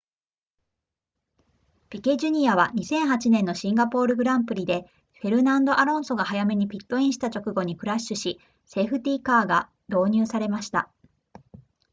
ピケ jr. は2008年のシンガポール gp でフェルナンドアロンソが早めにピットインした直後にクラッシュしセーフティーカーが導入されました